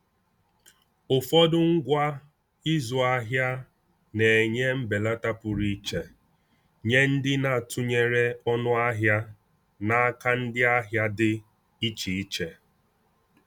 Ụfọdụ ngwa ịzụ ahịa na-enye mbelata pụrụ iche nye ndị na-atụnyere ọnụ ahịa n’aka ndị ahịa dị iche iche.